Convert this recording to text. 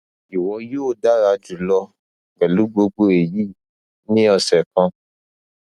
iwọ yoo dara julọ pẹlu gbogbo eyi ni ọsẹ kan